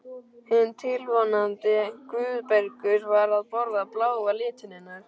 Hinn tilvonandi Guðbergur var að borða bláa litinn hennar.